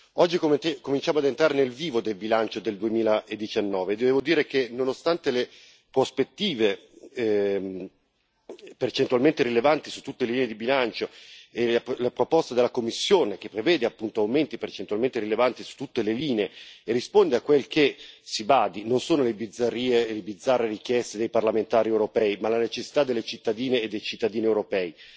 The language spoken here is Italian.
Oggi cominciamo ad entrare nel vivo del bilancio per il 2019 e devo dire che, nonostante le prospettive percentualmente rilevanti su tutte le linee di bilancio, la proposta della Commissione, che prevede appunto aumenti percentualmente rilevanti su tutte le linee, risponde si badi bene non già alle bizzarre richieste dei parlamentari europei ma alle necessità delle cittadine e dei cittadini europei.